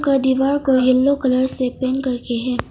ये दीवार को येलो कलर से पेंट करके है।